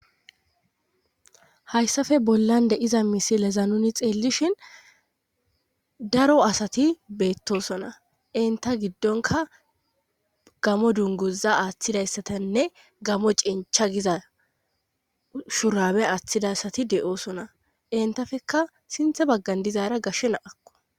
hayssafe bollan deiza misileza nuni xeellishin daro asati beettosona inta giddonka gamo dunguza aaththidayssatanne gamo cincha giza shurabe aaththidayssati de7oosona intafekka sinthe baggan dizaara gashshe na7akko